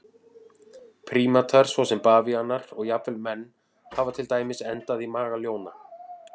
Prímatar svo sem bavíanar og jafnvel menn hafa til dæmis endað í maga ljóna.